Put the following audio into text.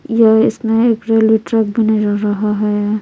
यह इसमें एक रेलवे ट्रक भी नजर रहा हैय--